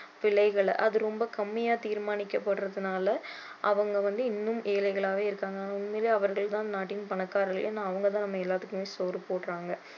விலைகளை அது ரொம்ப கம்மியா தீர்மானிக்கபடறதுனால அவங்க வந்து இன்னும் எழைகளாவே இருக்காங்க உண்மையில அவர்கள் தான் நாட்டின் பணக்காரர்கள் ஏன்னா அவங்க தான் நம்ம எல்லாருக்குமே சோறு போடுறாங்க